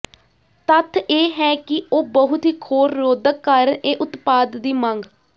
ਤੱਥ ਇਹ ਹੈ ਕਿ ਉਹ ਬਹੁਤ ਹੀ ਖੋਰ ਰੋਧਕ ਕਾਰਨ ਇਹ ਉਤਪਾਦ ਦੀ ਮੰਗ